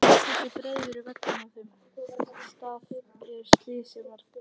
Hversu breiður er vegurinn á þeim stað er slysið varð?